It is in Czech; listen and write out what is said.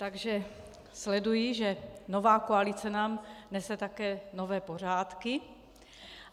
Takže sleduji, že nová koalice nám nese také nové pořádky.